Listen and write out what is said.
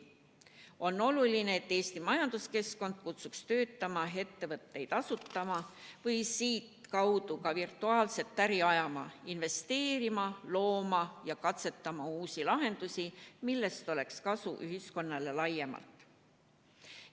On oluline, et Eesti majanduskeskkond kutsuks töötama, ettevõtteid asutama ja siitkaudu ka virtuaalset äri ajama, investeerima, looma ja katsetama uusi lahendusi, millest oleks kasu ühiskonnal laiemalt.